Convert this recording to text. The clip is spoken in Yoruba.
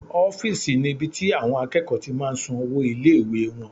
Ọ́fìsì ni ibi tí àwọn akẹ́kọ̀ọ́ ti máa n san owó ilé-ìwé wọn